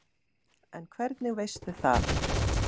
En hvernig veistu það?